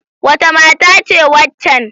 Wace mata ce waccan?